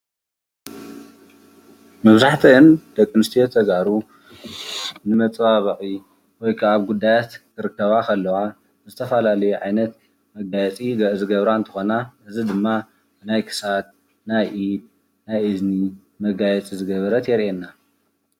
መብዛሕትአን ደቂ አንስትዮ ተጋሩ ንመፀባበቒ ወይ ከዓ ጉዳያት ክርከባ ከለዋ ዝተፈላለዩ ዓይነት መጋየፂ ዝገብራ እንትኾና እዚ ድማ ናይ ክሳድ፣ ናይ ኢድ፣ ናይ እዝና ምጋየፂ ዝገበረት የርእየና።